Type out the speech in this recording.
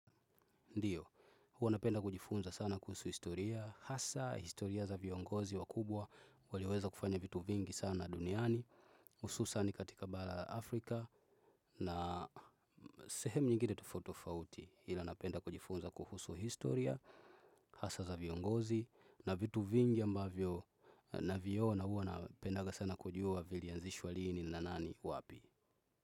Ndio, huwa napenda kujifunza sana kuhusu historia, hasa historia za viongozi wakubwa, walioweza kufanya vitu vingi sana duniani, hususan katika bara Afrika, na sehemu nyingine tofauti tofauti. Ila napenda kujifunza kuhusu historia, hasa za viongozi, na vitu vingi ambavyo naviona huwa napendanga sana kujua vilianzishwa lini, na nani, wapi.